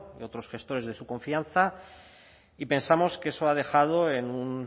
y otros gestores de su confianza y pensamos que eso ha dejado en un